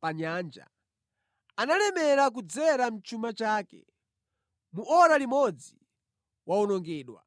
pa nyanja analemera kudzera mʼchuma chake! Mu ora limodzi wawonongedwa.